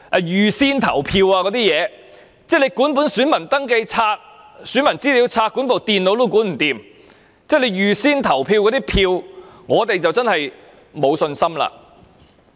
如果他們連選民登記冊、選民資料冊和電腦也無法妥善管理，對於那些預先投票的選票，我們真的沒有信心。